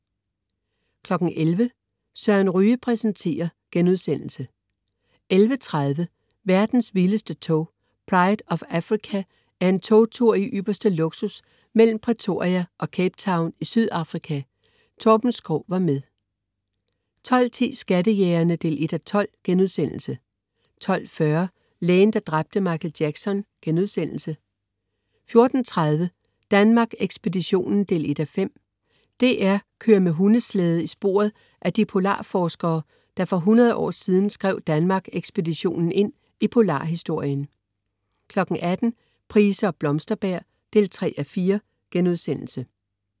11.00 Søren Ryge præsenterer* 11.30 Verdens vildeste tog. Pride of Africa er en togtur i ypperste luksus mellem Pretoria og Cape Town i Sydafrika. Torben Schou var med 12.10 Skattejægerne 1:12* 12.40 Lægen, der dræbte Michael Jackson* 14.30 Danmark Ekspeditionen 1:5. DR kører med hundeslæde i sporet af de polarforskere, der for 100 år siden skrev Danmark Ekspeditionen ind i polarhistorien 18.00 Price og Blomsterberg 3:4*